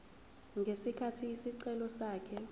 ngesikhathi isicelo sakhe